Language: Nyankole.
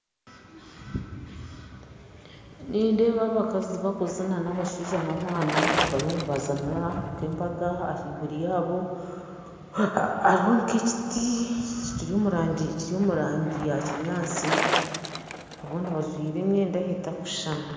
Nindeeba abakazi bakuzina n'abashaija nabaana bariyo nibazina nka embaga ahaiguru yaabo hariho nk'ekiti kiri omu rangi ya kinyatsi abandi bajwaire emyenda etakushushana